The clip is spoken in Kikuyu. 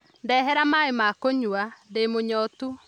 Ndehera maĩ ma kũnyua, ndĩ mũnyotu